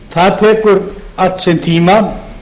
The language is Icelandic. það tekur allt sinn tíma